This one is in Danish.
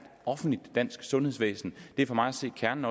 offentligt dansk sundhedsvæsen det er for mig at se kernen